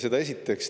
Seda esiteks.